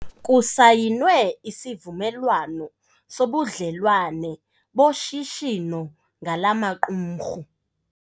Kusayinwe isivumelwano sobudlelwane boshishino ngala maqumrhu.